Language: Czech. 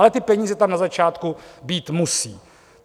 Ale ty peníze tam na začátku být musí.